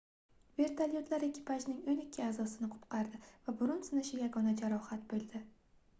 vertolyotlar ekipajning oʻn ikki aʼzosi qutqardi va burun sinishi yagona jarohat boʻldi